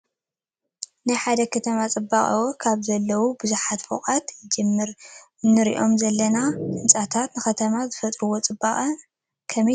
ናይ ሓደ ከተማ ፅባቐ ኣብኡ ካብ ዘለዉ በዓል ብዙሕ ፎቕ ህንፃታት ይጅምር፡፡ እዞም ንሪኦም ዘለና ህንፃታት ንከተማ ዝፈጥሩሉ ፅባቐ ከመይ ትርእይዎ?